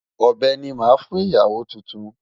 Ọ̀bẹ ni màá fún ìyàwó tuntun.